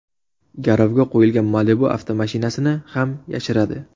Garovga qo‘yilgan Malibu avtomashinasini ham yashiradi.